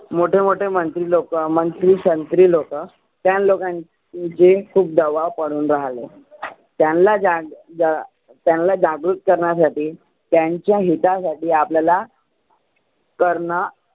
मोठे मोठे मंत्री लोक, मंत्री संत्री लोक त्यां लोकां जे की खुप दबाव पडून राहाले. त्यांला ज्या त्यांला जागृत करण्यासाठी त्यांच्या हिता साठी आपल्याला करण